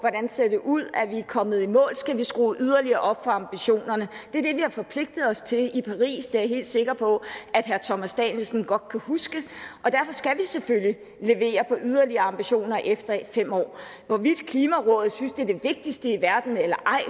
ser ud er vi kommet i mål skal vi skrue yderligere op for ambitionerne det er det vi har forpligtet os til i paris det er jeg helt sikker på at herre thomas danielsen godt kan huske og derfor skal vi selvfølgelig levere på yderligere ambitioner efter fem år hvorvidt klimarådet synes det er det vigtigste i verden eller ej